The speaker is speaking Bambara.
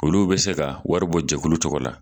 Olu bɛ se ka wari bɔ jɛkulu tɔgɔ la